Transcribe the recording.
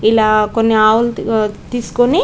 ఇలా కొన్ని ఆవులు తీస్కొని --